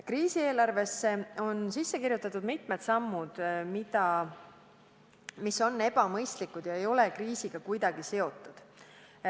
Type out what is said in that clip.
Kriisieelarvesse on sisse kirjutatud mitmed sammud, mis on ebamõistlikud ega ole kriisiga kuidagi seotud.